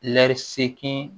Lɛri seegin